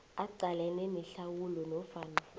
aqalane nehlawulo nofana